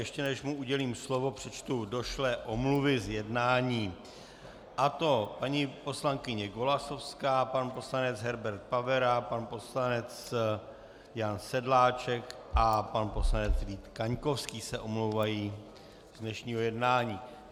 Ještě než mu udělím slovo, přečtu došlé omluvy z jednání, a to paní poslankyně Golasowská, pan poslanec Herbert Pavera, pan poslanec Jan Sedláček a pan poslanec Vít Kaňkovský se omlouvají z dnešního jednání.